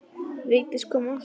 Vigdís kom aftur.